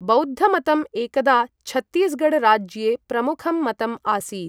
बौद्धमतम् एकदा छत्तीसगढ़ राज्ये प्रमुखं मतम् आसीत्।